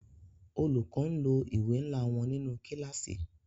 Olùkọ n lo ìwé nla wọn nínú kílàsì.